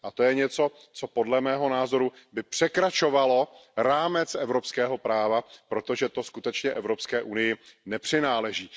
To je něco, co podle mého názoru by překračovalo rámec evropského práva, protože to skutečně Evropské unii nepřináleží.